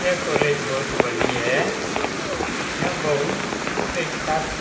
यह कॉलेज बहुत बड़ी है। यह बहुत से छात्र --